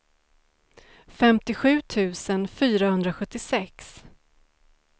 femtiosju tusen fyrahundrasjuttiosex